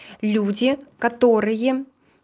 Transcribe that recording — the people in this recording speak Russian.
люди которые